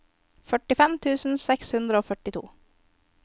førtifem tusen seks hundre og førtito